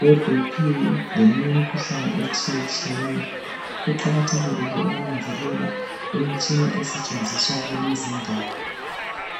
we Bp leminye imkhuhlane etshiye tshiyeneyo kuqakathekile ke ukunanzelela imitshina esetshenziswa kulezi indawo.